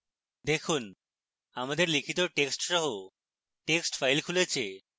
দেখুন আমাদের লিখিত text see text file খুলেছে